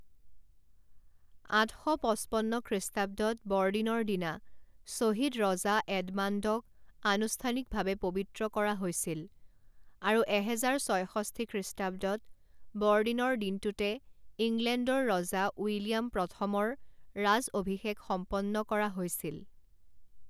আঠ শ পঁচপন্ন খ্ৰীষ্টাব্দত বৰদিনৰ দিনা শ্বহীদ ৰজা এডমাণ্ডক আনুষ্ঠানিকভাৱে পবিত্ৰ কৰা হৈছিল আৰু এহেজাৰ ছয়ষষ্ঠি খ্ৰীষ্টাব্দত বৰদিনৰ দিনটোতে ইংলেণ্ডৰ ৰজা উইলিয়াম প্ৰথমৰ ৰাজঅভিষেক সম্পন্ন কৰা হৈছিল।